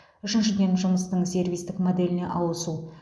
үшіншіден жұмыстың сервистік моделіне ауысу